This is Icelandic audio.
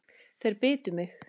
Þeir bitu mig.